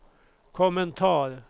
kommentar